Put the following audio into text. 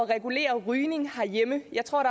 regulere rygning herhjemme jeg tror